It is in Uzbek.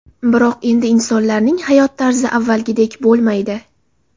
Biroq endi insonlarning hayot tarzi avvalgidek bo‘lmaydi.